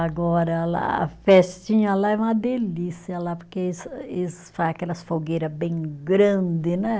Agora lá, a festinha lá é uma delícia lá, porque eles faz aquelas fogueira bem grande, né?